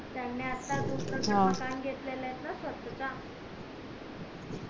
त्यानी आता च त्यानी आता च मकान घेतलेला आहे ना स्वतः चा